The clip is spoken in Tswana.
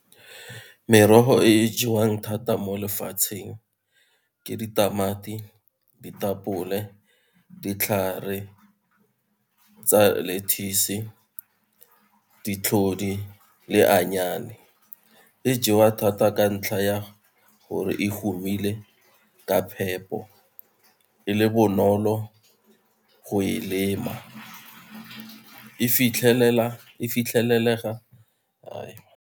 Merogo e jewang thata mo lefatsheng ke ditamati, ditapole, ditlhare tsa lettuce ditlhodi le e jewa thata ka ntlha ya gore e humile ka phepo, e le bonolo go e lema. E fitlhelelega .